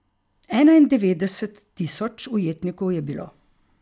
Enaindevetdeset tisoč ujetnikov je bilo.